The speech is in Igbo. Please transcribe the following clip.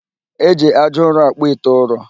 E ji aja ụrọ akpụ ite ụrọ